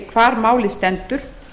hvar málið stendur